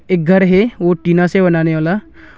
इक घर है ओ टीना से बनाने वाला--